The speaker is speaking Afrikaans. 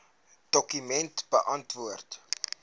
dokument beantwoord